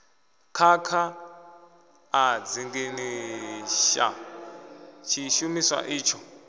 khakha a dzinginyisa tshishumiswa itsho